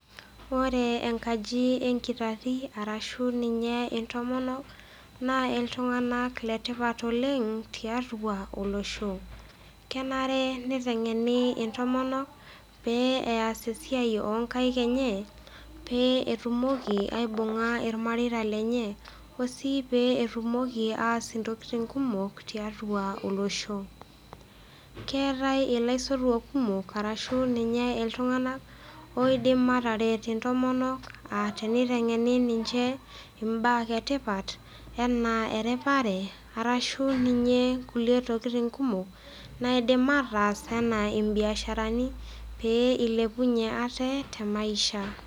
Ore enkaji enkitati ashu ninye intomonok, naa iltung'ana le tipat oleng tiatua olosho. Kenare neiteng'eni intomonok pee eas esiai onkaik enye pee etumoki aibung'a ilmareita lenye osii pee etumoki aas intokitin kumok tiatua olosho. Keatai ilaisotuak kumok ashu ninye iltung'ana oidim ataret intomonok a teneiteng'eni ninche imbaa etipat anaa eripare arashu ninye kulie tokitin kumok naidim ataas anaa imbiasharani pee eilepunyie ate te maisha.